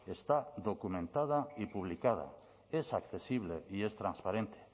está documentada y publicada es accesible y es transparente